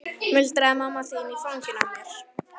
muldraði mamma þín í fanginu á mér.